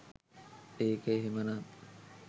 ඒක එහෙම නන්